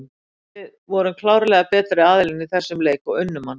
Við vorum klárlega betri aðilinn í þessum leik og unnum hann.